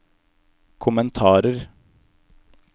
kommentarer